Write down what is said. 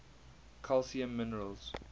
calcium minerals